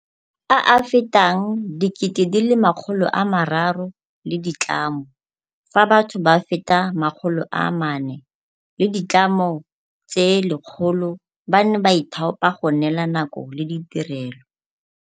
a a fetang 300 000 le ditlamo, fa batho ba feta 400 le ditlamo tse 100 ba ne ba ithaopa go neela nako le ditirelo.